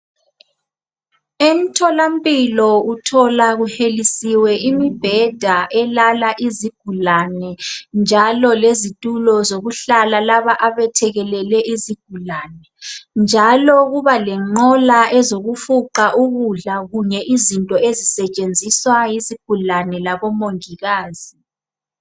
Emtholampilo uthola kuhelisiwe imibheda elala izigulane njalo lezitulo zokuhlala laba abethekelele izigulane njalo kuba lenqola ezokufuqa ukudla kunye izinto ezisetshenziswa yizigulane labomongikazi.